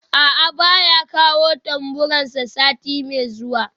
A'a baya kawo tamburansa sati mai zuwa